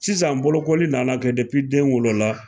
Sisan bolokoli nana kɛ den wolola